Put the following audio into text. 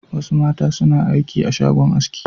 Wasu mata suna aiki a shagon aski.